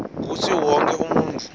kutsi wonkhe umuntfu